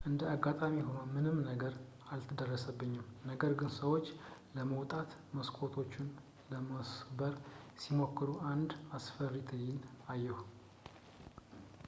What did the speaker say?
እንደ አጋጣሚ ሆኖ ምንም ነገር አልደረሰብኝም ነገር ግን ሰዎች ለመውጣት መስኮቶችን ለመስበር ሲሞክሩ አንድ አስፈሪ ትዕይንት አየሁ